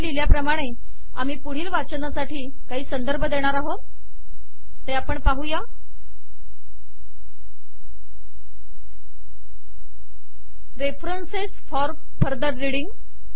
इथे लिहिल्याप्रमाणे आम्ही पुढील वाचनासाठी काही संदर्भ देणार आहोत - रेफरन्सेस फॉर फर्दर रीडिंग